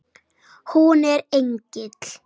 Hún er engill.